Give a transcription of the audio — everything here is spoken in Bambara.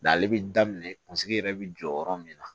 N'ale bɛ daminɛ kunsigi yɛrɛ bɛ jɔ yɔrɔ min na